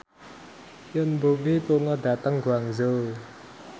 Yoon Bomi lunga dhateng Guangzhou